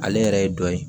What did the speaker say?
Ale yɛrɛ ye dɔ ye